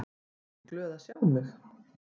Ertu ekki glöð að sjá mig?